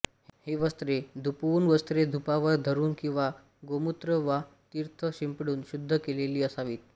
ही वस्त्रे धुपवून वस्त्रे धुपावर धरून किंवा गोमूत्र वा तीर्थ शिंपडून शुद्ध केलेली असावीत